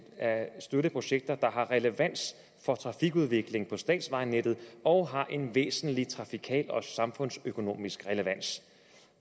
at støtte projekter der har relevans for trafikudvikling på statsvejnettet og har en væsentlig trafikal og samfundsøkonomisk relevans